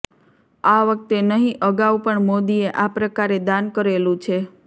આ વખતે નહીં અગાઉ પણ મોદીએ આ પ્રકારે દાન કરેલું છે